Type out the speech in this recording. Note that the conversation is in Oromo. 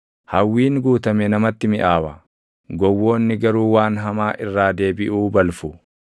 Hawwiin guutame namatti miʼaawa; gowwoonni garuu waan hamaa irraa deebiʼuu balfu.